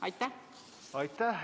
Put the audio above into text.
Aitäh!